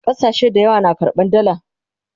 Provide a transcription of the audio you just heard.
ƙasashe da yawa na karɓan dalla